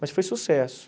Mas foi sucesso.